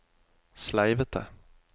sleivete